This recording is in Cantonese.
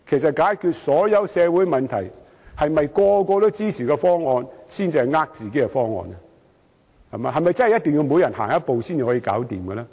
在解決任何社會問題時，所有人都支持的方案，會否才是欺騙自己的方案？